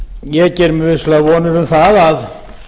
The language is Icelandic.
ég geri mér vissulega vonir um það að